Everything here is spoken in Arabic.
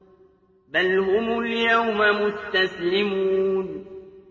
بَلْ هُمُ الْيَوْمَ مُسْتَسْلِمُونَ